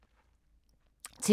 TV 2